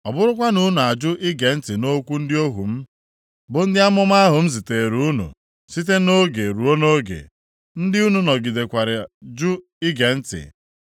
Ọ bụrụkwa na unu ajụ ige ntị nʼokwu ndị ohu m bụ ndị amụma ahụ m ziteere unu site nʼoge ruo nʼoge (ndị unu nọgidekwara jụ ige ntị),